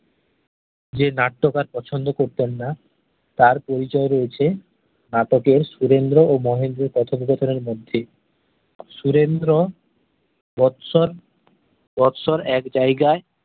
যে নাট্যকার পছন্দ করতেন না তার পরিচয় রয়েছে নাটকের সুরেন্দ্র ও মহেন্দ্রর কথোপকথনের মধ্যে সুরেন্দ্র বৎসর বৎসর এক জায়গায়